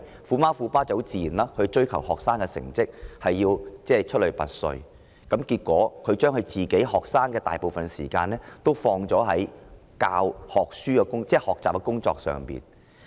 "虎媽"及"虎爸"追求子女成績出類拔萃，結果將子女的大部分時間投放在學習之上。